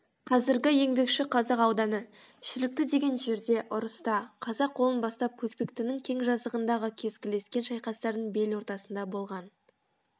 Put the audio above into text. қазіргі еңбекшіқазақ ауданы шілікті деген жерде ұрыста қазақ қолын бастап көкпектінің кең жазығындағы кескілескен шайқастардың бел ортасында болған